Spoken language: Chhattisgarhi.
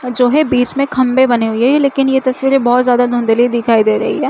जो है बीच में खम्भे बने हुए है लेकीन ये तस्वीरें बहुत ज्यादा धुंधली दिखाई दे रही है।